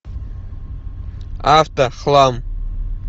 автохлам